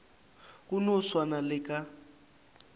go no swana le ka